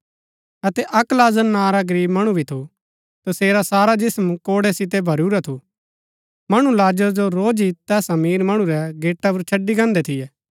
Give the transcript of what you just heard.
अतै अक्क लाजर नां रा गरीब मणु भी थू तसेरा सारा जिस्म फोडै सितै भरिऊरा थू मणु लाजर जो रोज ही तैस अमीर मणु रै गेटा पुर छड़ी गान्हदै थियै